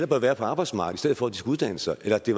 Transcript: bør være på arbejdsmarkedet for at de skal uddanne sig eller at det